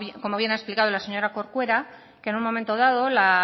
como bien ha explicado las señora corcuera que en un momento dado la